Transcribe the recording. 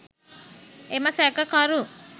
එම සැකකරු